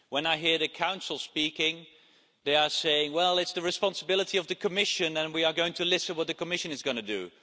When I hear the Council speaking, they are saying well, it's the responsibility of the Commission and we are going to listen to what the Commission is going to do.